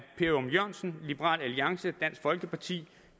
ørum jørgensen liberal alliance dansk folkeparti